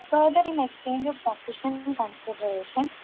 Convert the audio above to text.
further in exchange of sufficient consideration